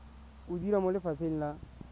o dira mo lefapheng la